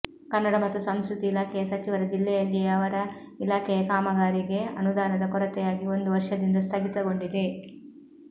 ಕನ್ನಡ ಮತ್ತು ಸಂಸ್ಕೃತಿ ಇಲಾಖೆಯ ಸಚಿವರ ಜಿಲ್ಲೆಯಲ್ಲಿಯೇ ಅವರ ಇಲಾ ಖೆಯ ಕಾಮಗಾರಿಗೆ ಅನುದಾನದ ಕೊರತೆಯಾಗಿ ಒಂದು ವರ್ಷದಿಂದ ಸ್ಥಗಿತಗೊಂಡಿದೆ